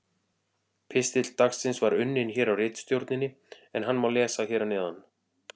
Pistill dagsins var unninn hér á ritstjórninni en hann má lesa hér að neðan: